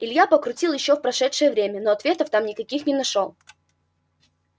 илья покрутил ещё в прошедшее время но ответов там никаких не нашёл